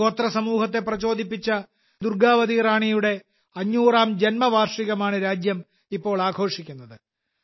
ഗോത്ര സമൂഹത്തെ പ്രചോദിപ്പിച്ച രാജ്ഞി ദുർഗ്ഗാവതിയുടെ 500ാം ജന്മവാർഷികമാണ് രാജ്യം ഇപ്പോൾ ആഘോഷിക്കുന്നത്